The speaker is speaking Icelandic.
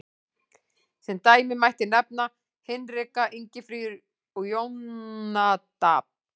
Sem dæmi mætti nefna Hinrika, Ingifríður, Jónadab.